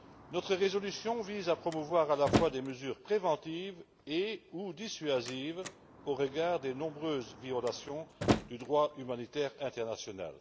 Notre résolution vise à promouvoir des mesures préventives et ou dissuasives au regard des nombreuses violations du droit humanitaire international.